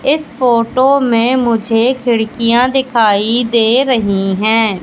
इस फोटो में मुझे खिड़कियां दिखाई दे रही है।